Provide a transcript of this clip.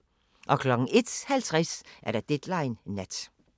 01:50: Deadline Nat